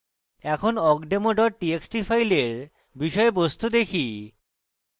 এখন awkdemo txt txt file বিষয়বস্তু দেখি